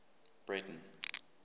breyten